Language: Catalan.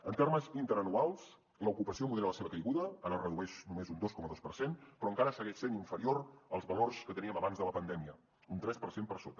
en termes interanuals l’ocupació modera la seva caiguda ara es redueix només un dos coma dos per cent però encara segueix sent inferior als valors que teníem abans de la pandèmia un tres per cent per sota